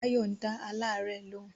Báyọ̀ ń dá alárẹ̀ lóun